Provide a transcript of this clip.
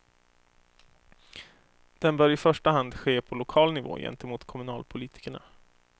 Den bör i första hand ske på lokal nivå gentemot kommunalpolitikerna.